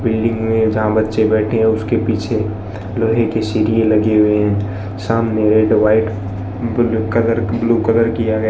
building में जहां बच्चे बैठे हैं उसके पीछे लोहे की सीढ़ी लगे हुए हैं सामने red white blue colour blue colour किया गया --